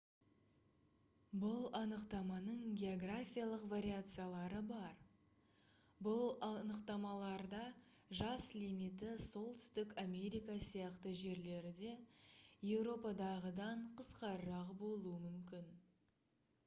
бұл анықтаманың географиялық вариациялары бар бұл анықтамаларда жас лимиті солтүстік америка сияқты жерлерде еуропадағыдан қысқарақ болуы мүмкін